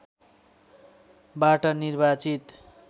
बाट निर्वाचित